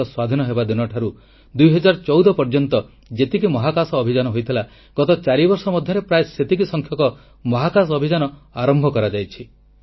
ଦେଶ ସ୍ୱାଧୀନ ହେବା ଦିନଠାରୁ 2014 ପର୍ଯ୍ୟନ୍ତ ଯେତିକି ମହାକାଶ ଅଭିଯାନ ହୋଇଥିଲା ଗତ 4 ବର୍ଷ ମଧ୍ୟରେ ପ୍ରାୟ ସେତିକି ସଂଖ୍ୟକ ମହାକାଶ ଅଭିଯାନ ଆରମ୍ଭ କରାଯାଇଛି